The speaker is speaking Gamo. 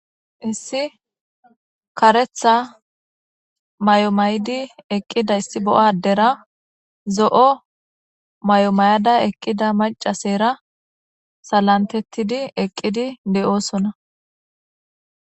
Issi karetha may7omaydi eqqida issi bo7a adera zo7o may7o may7ada eqqida macasera salantettidi eqqidi de7oosona.